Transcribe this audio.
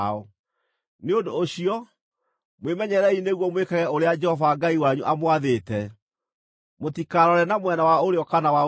Nĩ ũndũ ũcio, mwĩmenyererei nĩguo mwĩkage ũrĩa Jehova Ngai wanyu amwathĩte; mũtikarore na mwena wa ũrĩo kana wa ũmotho.